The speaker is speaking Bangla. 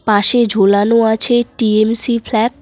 পাশে ঝোলানো আছে টি_এম_সি ফ্ল্যাগ ।